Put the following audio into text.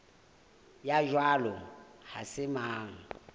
ya jwalo ha se mang